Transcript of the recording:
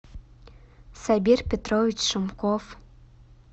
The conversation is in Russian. сабир петрович шумков